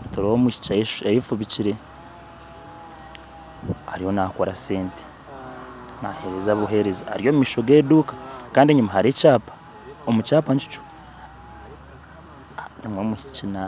Nitureeba omwishiki ayefubikire. Ariyo naakora sente naheereza buheereza. Ari omumaisho g'eduuka, kandi enyima hariyo ekyaapa. Omu kyaapa nkikyo harimu omwishiki